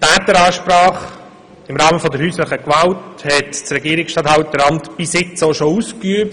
Die «Täteransprache» im Rahmen von häuslicher Gewalt haben die Regierungsstatthalterämter bisher bereits ausgeübt.